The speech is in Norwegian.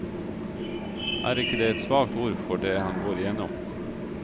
Er ikke det et svakt ord for det han går igjennom?